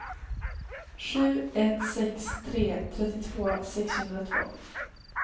sju ett sex tre trettiotvå sexhundratvå